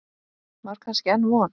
Var kannski enn von?